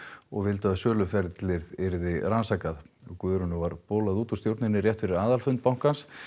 og vildu að söluferlið yrði rannsakað Guðrúnu var bolað út úr stjórninni rétt fyrir aðalfund bankans